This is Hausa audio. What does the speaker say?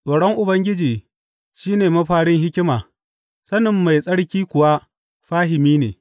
Tsoron Ubangiji shi ne mafarin hikima, sanin Mai Tsarki kuwa fahimi ne.